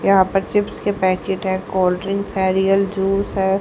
यहां पर चिप्स के पैकेट है कोल्ड ड्रिंक है रियल जूस है।